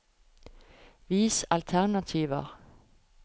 Vis alternativer